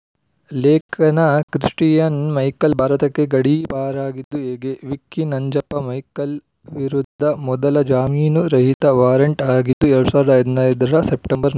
ಲೇಖನ Christian Michel ಭಾರತಕ್ಕೆ ಗಡೀಪಾರಾಗಿದ್ದು ಹೇಗೆ ವಿಕ್ಕಿ ನಂಜಪ್ಪ ಮೈಕೆಲ್‌ ವಿರುದ್ಧ ಮೊದಲ ಜಾಮೀನು ರಹಿತ ವಾರೆಂಟ್‌ ಆಗಿದ್ದು ಎರಡು ಸಾವಿರದ ಹದಿನೈದರ ಸೆಪ್ಟೆಂಬರ್ಲ್ಲಿ